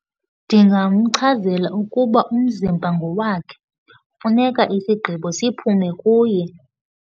Ndingamchazela ukuba umzimba ngowakhe, funeka isigqibo siphume kuye.